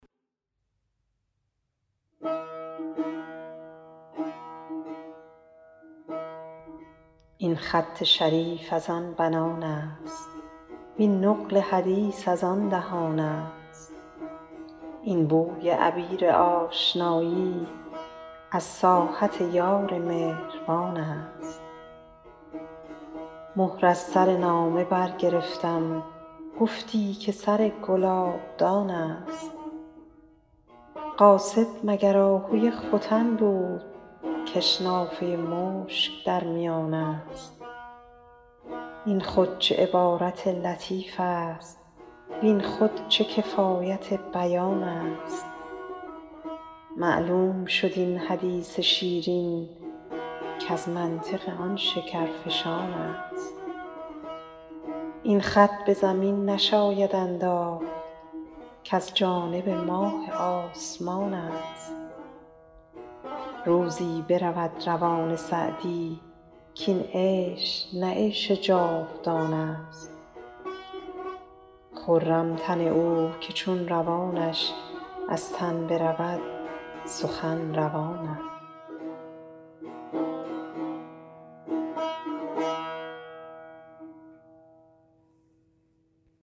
این خط شریف از آن بنان است وین نقل حدیث از آن دهان است این بوی عبیر آشنایی از ساحت یار مهربان است مهر از سر نامه برگرفتم گفتی که سر گلابدان است قاصد مگر آهوی ختن بود کش نافه مشک در میان است این خود چه عبارت لطیف است وین خود چه کفایت بیان است معلوم شد این حدیث شیرین کز منطق آن شکرفشان است این خط به زمین نشاید انداخت کز جانب ماه آسمان است روزی برود روان سعدی کاین عیش نه عیش جاودان است خرم تن او که چون روانش از تن برود سخن روان است